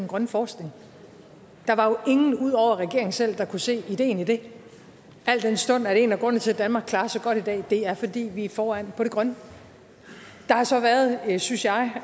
grønne forskning der var jo ingen ud over regeringen selv der kunne se ideen i det al den stund at en af grundene til at danmark klarer sig godt i dag er fordi vi er foran på det grønne der har så været synes jeg